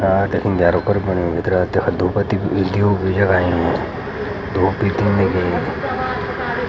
आ तखिम धैर्यो पर बण्यूं भित्रा तख धुप बत्ती भी द्यूँ भी जगयूं धूप भी तीन लगीं।